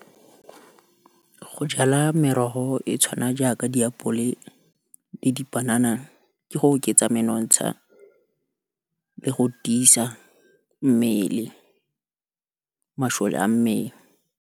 Go jala merogo e tshwana jaaka diapole, le dipanana, ke go oketsa menontsha, le go tiisa masole a mmele.